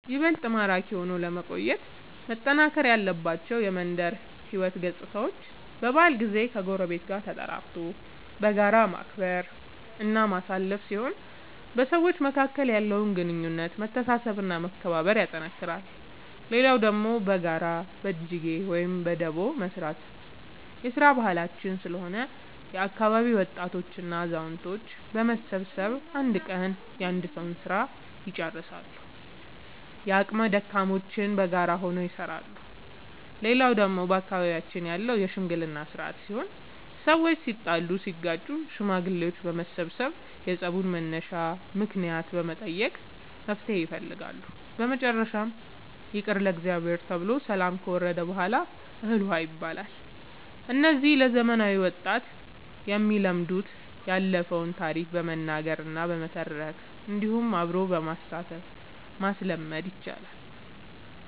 ይበልጥ ማራኪ ሆኖ ለመቆየት መጠናከር ያለባቸው የመንደር ሕይወት ገፅታዎች በበዓል ጊዜ ከጎረቤት ጋር ተጠራርቶ በጋራ ማክበር እና ማሳለፍ ሲሆን በሰዎች መካከል ያለውን ግንኙነት መተሳሰብ እና መከባበር ያጠነክራል። ሌላው ደግሞ በጋራ በጅጌ ወይም በዳቦ መስራት የስራ ባህላችን ስለሆነ የአካባቢ ወጣቶች እና አዛውቶች በመሰብሰብ አንድ ቀን የአንድ ሰዉ ስራ ልጨርሳሉ። የአቅመ ደካሞችንም በጋራ ሆነው ይሰራሉ። ሌላው ደግሞ በአካባቢያችን ያለው የሽምግልና ስርአት ሲሆን ሰዎች ሲጣሉ ሲጋጩ ሽማግሌዎች በመሰብሰብ የፀቡን መነሻ ምክንያት በመጠየቅ መፍትሔ ይፈልጋሉ። በመጨረሻም ይቅር ለእግዚአብሔር ተብሎ ሰላም ከወረደ በሗላ እህል ውሃ ይባላል። እነዚህ ለዘመናዊ ወጣት የሚለመዱት ያለፈውን ታሪክ በመናገር እና በመተረክ እንዲሁም አብሮ በማሳተፍ ማስለመድ ይቻላል።